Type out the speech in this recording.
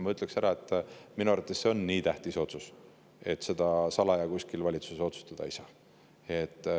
Ma ütleksin, et minu arvates on see nii tähtis otsus, et seda valitsus kuskil salaja otsustada ei saa.